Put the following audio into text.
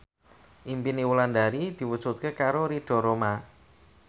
impine Wulandari diwujudke karo Ridho Roma